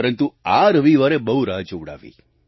પરંતુ આ રવિવારે બહુ રાહ જોવડાવી